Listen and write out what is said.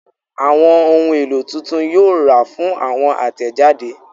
Awọn ohun elo titun yoo ra fun awọn atẹjade